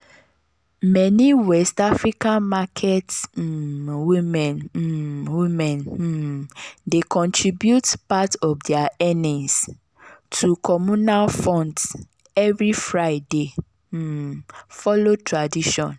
meni west african market um women um women um dey contribute part of dia earnings to communal funds every friday um follow tradition.